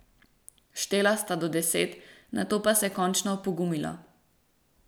Štela sta do deset, nato pa se končno opogumila.